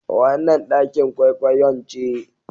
Wannan ɗakin kwaikwayon ce.